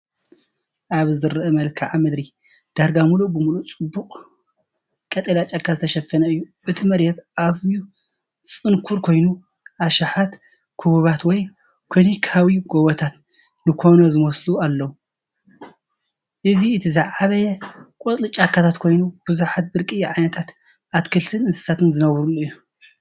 ኣብዚ ዝርአ መልክዓ ምድሪ ዳርጋ ምሉእ ብምሉእ ብጽዑቕ ቀጠልያ ጫካ ዝተሸፈነ እዩ። እቲ መሬት ኣዝዩ ጽንኩር ኮይኑ፡ ኣሽሓት ክቡባት ወይ ኮኒካዊ ጎቦታት ንኮኖ ዝመስሉ ኣለዉ። እዚ እቲ ዝዓበየ ቀጻሊ ጫካታት ኮይኑ፡ብዙሓት ብርቂ ዓይነታት ኣትክልትን እንስሳታትን ዝነብሩሉ እዩ።